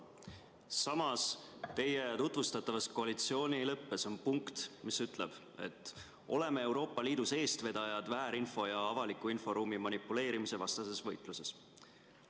Samas, teie tutvustatavas koalitsioonileppes on punkt, mis ütleb: "Oleme Euroopa Liidus eestvedajad väärinfo ja avaliku inforuumi manipuleerimise vastases võitluses.